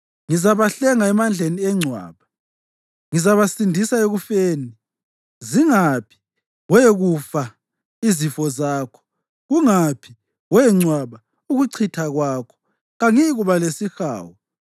Ngizabahlenga emandleni engcwaba; ngizabasindisa ekufeni. Zingaphi, we kufa izifo zakho? Kungaphi, we ngcwaba, ukuchitha kwakho? Kangiyikuba lesihawu,